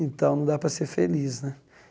Então, não dá para ser feliz né.